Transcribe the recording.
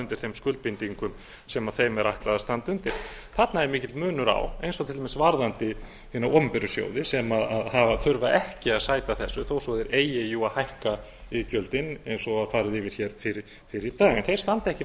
undir þeim skuldbindingum sem þeim er ætlað að standa undir þarna er mikill munur á eins og til dæmis varðandi hina opinberu sjóði sem þurfa ekki að sæta þessu þó svo að þeir eigi jú að hækka iðgjöldin eins og var farið yfir hér fyrr í dag en þeir standa ekki